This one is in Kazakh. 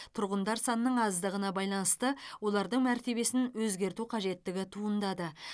тұрғындар санының аздығына байланысты олардың мәртебесін өзгерту қажеттігі туындады